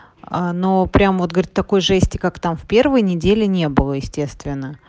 ну прям вот говорит такой же есть и как там в первые недели не было естественно